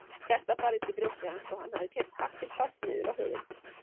Hjartað barðist í brjósti hans og hann hafði keyrt hattinn fast niður á höfuðið.